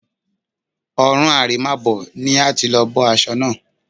Ọ̀run àrèmábọ̀ ni a ti lọ bọ́ aṣọ náà